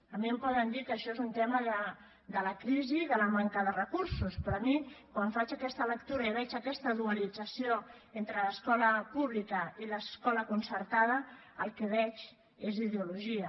a mi em poden dir que això és un tema de la crisi de la manca de recursos però jo quan faig aquesta lectura i veig aquesta dualització entre l’escola pública i l’escola concertada el que veig és ideologia